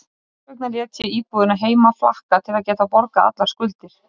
Þess vegna lét ég íbúðina heima flakka til að geta borgað allar skuldir.